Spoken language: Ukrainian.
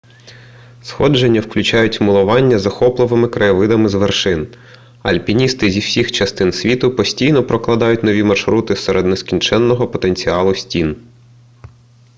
сходження включають милування захопливими краєвидами з вершин альпіністи зі всіх частин світу постійно прокладають нові маршрути серед нескінченного потенціалу стін